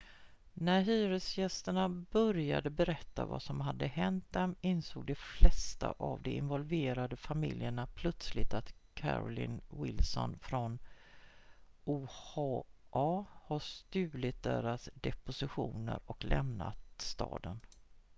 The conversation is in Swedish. när hyresgästerna började berätta vad som hade hänt dem insåg de flesta av de involverade familjerna plötsligt att carolyn wilson från oha hade stulit deras depositioner och lämnat staden